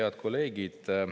Head kolleegid!